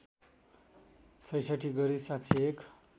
६६ गरी ७०१